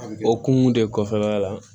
Okumu de kɔfɛ la la